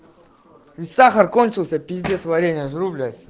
сахар кончился пиздец варенье жру блять